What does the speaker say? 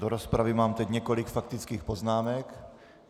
Do rozpravy mám teď několik faktických poznámek.